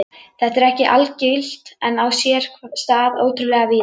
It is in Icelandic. Þetta er ekki algilt en á sér stað ótrúlega víða.